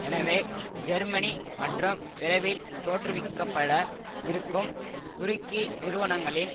எனவே ஜெர்மனி மற்றும் விரைவில் தோற்றுவிக்கப்பட இருக்கும் துருக்கி நிறுவனங்களின்